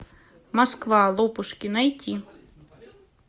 москва лопушки найти